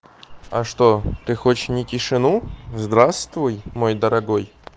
а что ты хочешь не тишину здравствуй мой дорогой